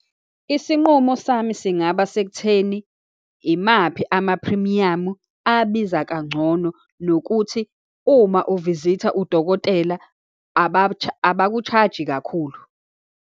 Isinqumo sami singaba sekutheni, imaphi amaphrimiyamu abiza kangcono, nokuthi uma uvizitha udokotela, abaku-charge-i kakhulu.